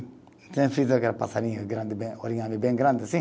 Então eu fiz aquele passarinho grande, bem bem grande, assim.